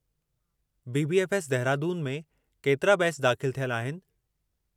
BBF S, Dehradun में केतिरा batch दाख़िलु थियल आहिनि?